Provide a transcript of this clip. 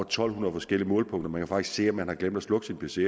to hundrede forskellige målepunkter man kan faktisk se om man har glemt at slukke sin pc